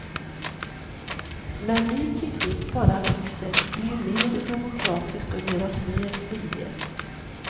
Men ny teknik bara växer, blir mer demokratisk och ger oss mer frihet.